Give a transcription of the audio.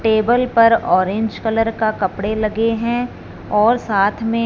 table पर orange colour का कपड़े लगे हैं और साथ में--